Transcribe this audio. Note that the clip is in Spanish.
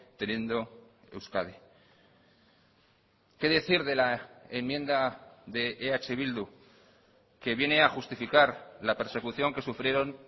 teniendo euskadi qué decir de la enmienda de eh bildu que viene a justificar la persecución que sufrieron